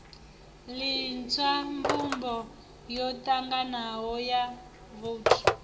litshwa mbumbo yotanganaho ya vouthu